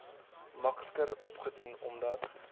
makliker opdoen omdat